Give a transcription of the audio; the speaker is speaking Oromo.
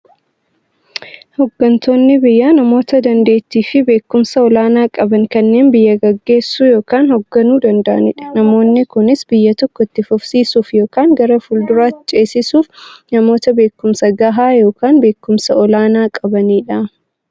Hooggantoonni biyyaa namoota daanteettiifi beekumsa olaanaa qaban, kanneen biyya gaggeessuu yookiin hoogganuu danda'aniidha. Namoonni kunis, biyya tokko itti fufsiisuuf yookiin gara fuulduraatti ceesisuuf, namoota beekumsa gahaa yookiin beekumsa olaanaa qabaniidha.